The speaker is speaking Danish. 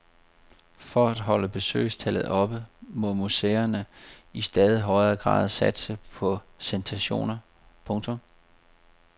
For at holde besøgstallet oppe må museerne i stadig højere grad satse på sensationer. punktum